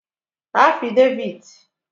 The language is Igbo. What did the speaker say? afideviti